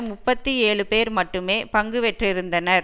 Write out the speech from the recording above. முப்பத்தி ஏழு பேர் மட்டுமே பங்கு பெற்றிருந்திருந்தனர்